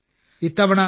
ഇത്തവണ 2